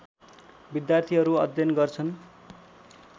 विद्यार्थीहरू अध्ययन गर्छन्